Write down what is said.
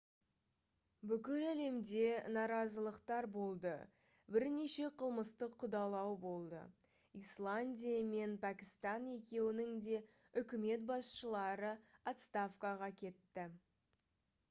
бүкіл әлемде наразылықтар болды бірнеше қылмыстық қудалау болды исландия мен пәкістан екеуінің де үкімет басшылары отставкаға кетті